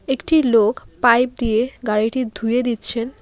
একটি লোক পাইপ দিয়ে গাড়িটি ধুয়ে দিচ্ছেন।